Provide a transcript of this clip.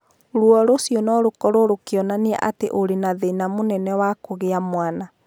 Rũo rũcio no rũkorũo rũkionania atĩ ũrĩ na thĩna mũnene wa kũgĩa mwana.